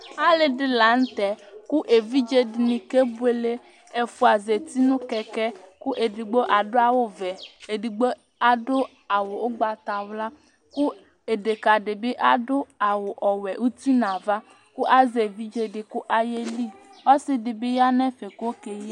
Alʋɛdìní la ntɛ kʋ evidze dìní kebʋele Ɛfʋa zɛti nʋ kɛkɛ kʋ ɛdigbo adu awu vɛ Ɛdigbo adu awu ugbatawla kʋ deka di adu awu wɛ ʋti nʋ ava kʋ azɛ evidze di kʋ ayeli Ɔsidi bi ya nʋ ɛfɛ kʋ ɔkeyi